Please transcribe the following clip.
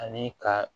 Ani ka